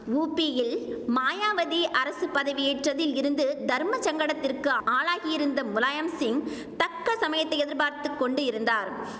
ஊப்பியில் மாயாவதி அரசு பதவியேற்றதில் இருந்து தர்மசங்கடத்திற்கு ஆளாகியிருந்த முலாயம் சிங் தக்க சமயத்தை எதிர்பார்த்து கொண்டு இருந்தார்